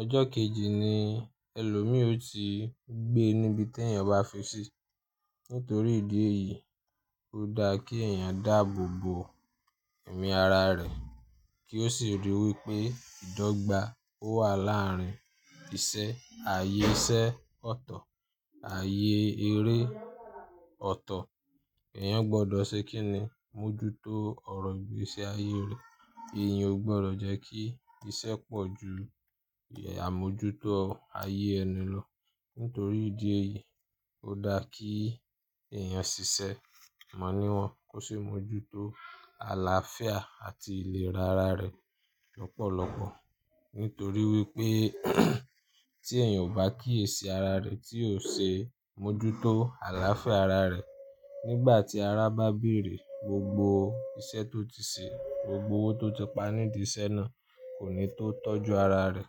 ọjọ́ kejì ni ẹlòmíò ti gbé níbi tí ènìyàn bá fi sí. Nítorí ìdí èyí, ó dáa kí ènìyàn dáàbò bo ẹ̀mí ara rẹ̀ kí ó sì ríi wí pé ìdọ́gba ó wà láàárín isẹ́, ayé iṣẹ́ ọ̀tọ̀, ayé eré ọ̀tọ̀. Ẹ̀yàn gbọdọ̀ ṣe kín ni mójútó ọ̀rọ̀ ìgbésí ayé rẹ̀. Ẹ̀yàn ò gbọdọ̀ jẹ́ kí isẹ́ pọ̀ ju àmójútó ayé ẹni lọ. Nítorí ìdí èyí, ó dáa kí ènìyàn ṣiṣẹ́ mọ̀ níwọ̀n kó sì mójútó àlàáfíà àti ìlera ara rẹ̀ lọ́pọ̀lọpọ̀. Nítorí wípé tí ènìyàn bá kíyèsi ara rẹ̀ tí ò ṣe àmójútó àlàáfíà ara rẹ̀, nígbà tí ará bá bèrè, gbogbo iṣẹ́ tó ti ṣe, gbogbo owó tó ti pa nídìí iṣẹ́ náà kò ní tó tọ́jú ara rẹ̀.